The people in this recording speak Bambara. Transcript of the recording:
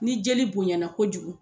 Ni jeli bonɲɛna kojugu